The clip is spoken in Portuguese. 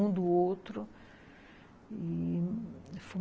Um do outro e